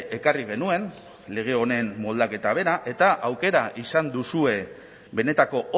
ekarri genuen lege honen moldaketa bera eta aukera izan duzue benetako